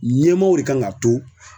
Ɲɛmaaw de kan k'a to